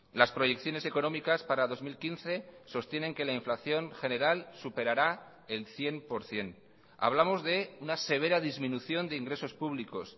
las proyecciones económicas para dos mil quince sostienen que la inflación general superará el cien por ciento hablamos de una severa disminución de ingresos públicos